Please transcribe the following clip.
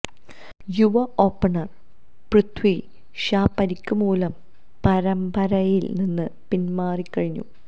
യുവ ഓപ്പണര് പൃഥി ഷാ പരിക്ക് മൂലം പരമ്പരയില് നിന്ന് പിന്മാറിക്കഴിഞ്ഞു